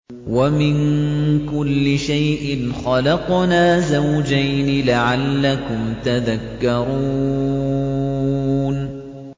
وَمِن كُلِّ شَيْءٍ خَلَقْنَا زَوْجَيْنِ لَعَلَّكُمْ تَذَكَّرُونَ